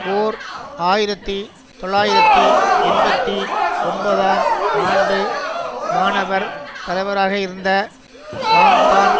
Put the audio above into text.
ஓர் ஆயிரத்தி தொள்ளாயிரத்தி எண்பத்தி ஒன்பதாம் ஆண்டு மாணவர் தலைவராகயிருந்த வாங்டான்